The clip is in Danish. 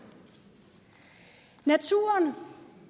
naturen